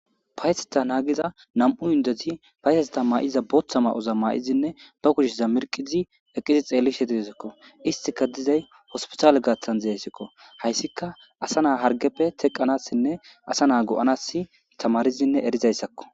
Payteta naagiza nam'u yundeti payteseta maa'iza booththa ma'oza maa'izinne ba kushiza mirqizi eqqizi xeelli shetidizikko istika dizay hospitale gaaththan zeeysikko hayssika asa naa hargeppe teqqanassinne asa naa go'anas tamarizinne erizayssakko.